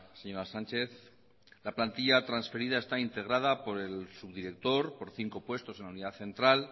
señora sánchez la plantilla transferida está integrada por el subdirector por cinco puestos en la unidad central